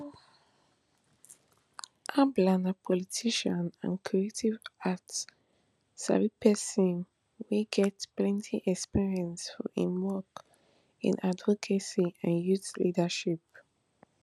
abla na politician and creative arts sabi pesin wia get plenti experience for im work in advocacy and youth leadership